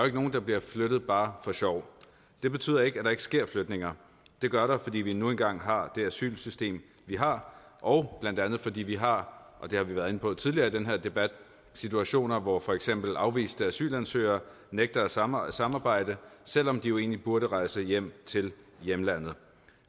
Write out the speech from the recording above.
ikke nogen der bliver flyttet bare for sjov det betyder ikke at der ikke sker flytninger det gør der fordi vi nu engang har det asylsystem vi har og blandt andet fordi vi har og det har vi været inde på tidligere i den her debat situationer hvor for eksempel afviste asylansøgere nægter at samarbejde samarbejde selv om de egentlig burde rejse hjem til hjemlandet